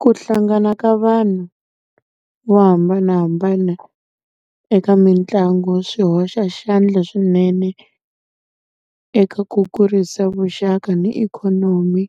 Ku hlangana ka vanhu vo hambanahambana eka mitlangu, swi hoxa xandla swinene eka ku kurisa vuxaka ni ikhonomi,